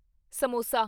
samosa